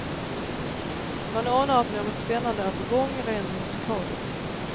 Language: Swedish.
Man anar att något spännande är på gång, rent musikaliskt.